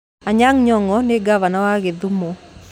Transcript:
Anyang' Nyong'o nĩ ngavana wa Gĩthumo